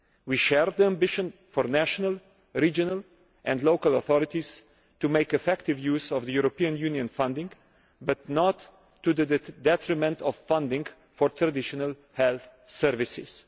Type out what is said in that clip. We share the ambition for national, regional and local authorities to make effective use of the European Union funding, but not to the detriment of funding for traditional health services.